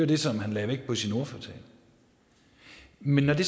det som han lagde vægt på i sin ordførertale men når det